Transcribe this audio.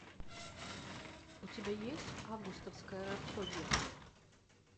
у тебя есть августовская рапсодия